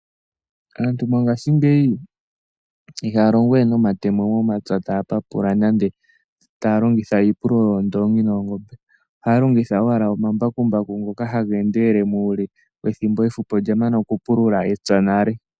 Aantu mongashingeyi ihaya longowe nomatemo momapya taya papula nande taya longitha iipululo yoondoongi noongombe. Ohaya longitha owala omambakumbaku ngoka haga endelele muule ethimbo efupi olya mana okupulula epya nale.